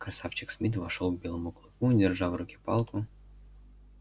красавчик смит вошёл к белому клыку держа в руке палку